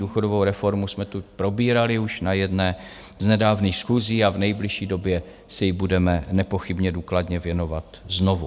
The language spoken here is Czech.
Důchodovou reformu jsme tu probírali už na jedné z nedávných schůzí a v nejbližší době se jí budeme nepochybně důkladně věnovat znovu.